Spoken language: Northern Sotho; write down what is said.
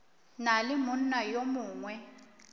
na le monna yo mongwe